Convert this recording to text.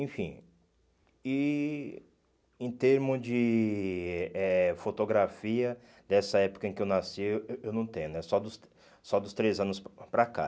Enfim, e em termos de eh fotografia dessa época em que eu nasci, eu eu não tenho, só dos só dos três anos para cá.